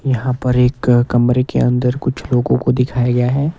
यहाँ पर एक कमरे के अंदर कुछ लोगों को दिखाया गया है।